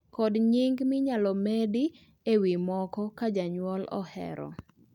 kod nyinge minyalo medi ewi moko ka janyuol ohero